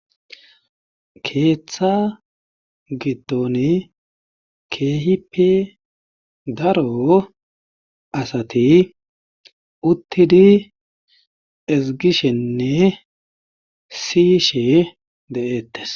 keeththa giddon keehipi daro asati uttidi ezgishenne siyishe de7eettes